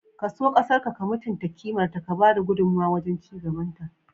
Ka so ƙasarƙa, ka mutunta kimarta, ka ba da gudummuwa wajen ci gabanta.